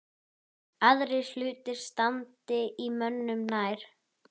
Aðrir hlutir standi mönnum nær.